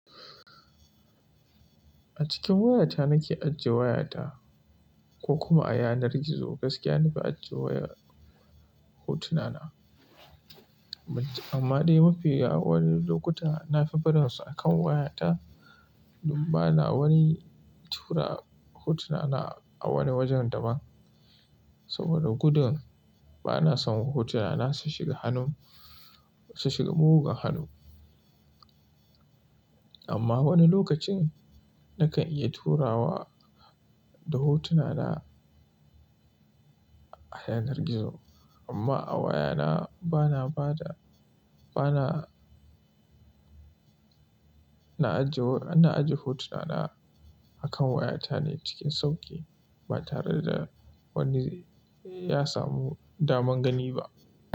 A cikin wayata nake ajiye wayata, ko kuma a yanar gizo, gaskiya na fi ajiye waya, hotuna na. Amma dai mafi yawan lokuta na fi barin su akan wayata, don bana wani tura hotuna na a wani wajen da ban. Saboda gudun bana son hotuna na su shiga hannun, su shiga mugun hannu. Amma wani lokacin nakan iya turawa da hotuna na a yanar gizo. Amma a wayana, bana bada, bana na ajiye, na ajiye hotuna na akan wayata ne cikin sauƙi ba tare da wani ya samu daman gani ba.